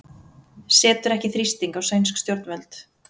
Setur ekki þrýsting á sænsk stjórnvöld